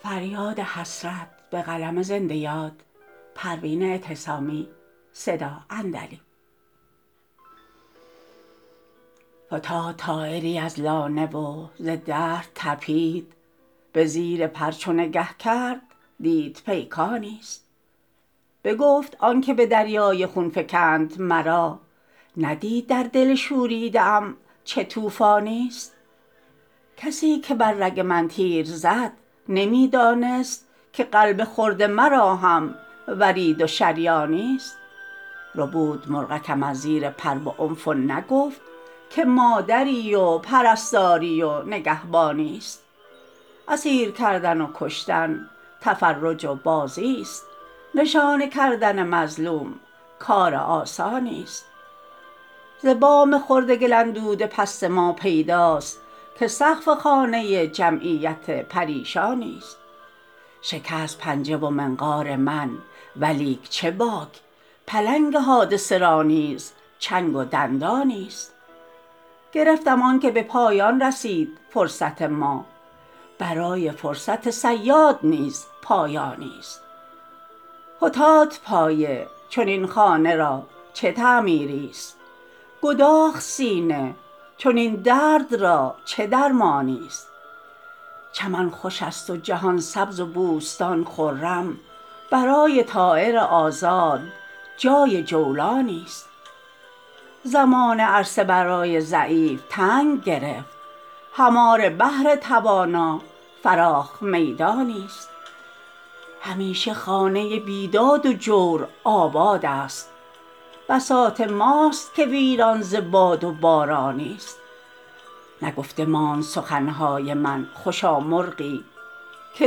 فتاد طایری از لانه و ز درد تپید بزیر پر چو نگه کرد دید پیکانی است بگفت آنکه بدریای خون فکند مرا ندید در دل شوریده ام چه طوفانی است کسیکه بر رگ من تیر زد نمیدانست که قلب خرد مرا هم ورید و شریانی است ربود مرغکم از زیر پر بعنف و نگفت که مادری و پرستاری و نگهبانی است اسیر کردن و کشتن تفرج و بازی است نشانه کردن مظلوم کار آسانی است ز بام خرد گل اندود پست ما پیداست که سقف خانه جمعیت پریشانی است شکست پنجه و منقار من ولیک چه باک پلنگ حادثه را نیز چنگ و دندانی است گرفتم آنکه بپایان رسید فرصت ما برای فرصت صیاد نیز پایانی است فتاد پایه چنین خانه را چه تعمیری است گداخت سینه چنین درد را چه درمانی است چمن خوش است و جهان سبز و بوستان خرم برای طایر آزاد جای جولانی است زمانه عرصه برای ضعیف تنگ گرفت هماره بهر توانا فراخ میدانی است همیشه خانه بیداد و جور آباد است بساط ماست که ویران ز باد و بارانی است نگفته ماند سخنهای من خوشا مرغی که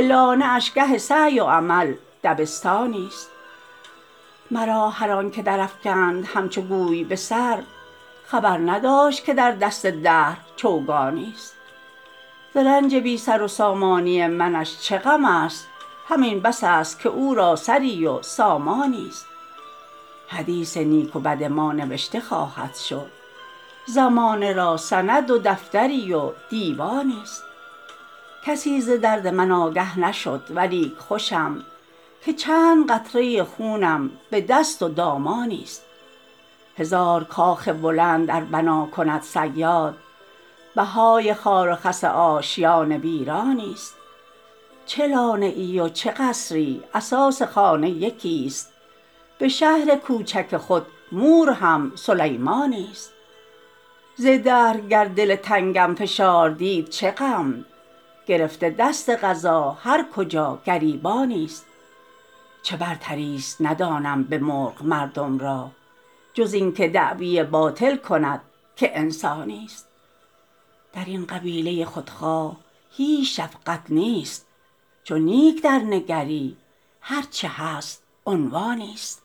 لانه اش گه سعی و عمل دبستانی است مرا هر آنکه در افکند همچو گوی بسر خبر نداشت که در دست دهر چوگانی است ز رنج بی سر و سامانی منش چه غم است همین بس است که او را سری و سامانی است حدیث نیک و بد ما نوشته خواهد شد زمانه را سند و دفتری و دیوانی است کسی ز درد من آگه نشد ولیک خوشم که چند قطره خونم بدست و دامانی است هزار کاخ بلند ار بنا کند صیاد بهای خار و خس آشیان ویرانی است چه لانه ای و چه قصری اساس خانه یکی است بشهر کوچک خود مور هم سلیمانی است ز دهر گر دل تنگم فشار دید چه غم گرفته دست قضا هر کجا گریبانی است چه برتریست ندانم بمرغ مردم را جز اینکه دعوی باطل کند که انسانی است درین قبیله خودخواه هیچ شقفت نیست چو نیک درنگری هر چه هست عنوانی است